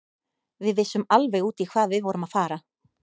Við vissum alveg út í hvað við vorum að fara.